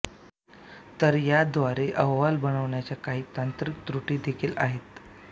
तर याद्वारे अहवाल बनवण्याच्या काही तांत्रिक त्रुटी देखील आहेत